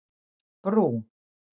Brú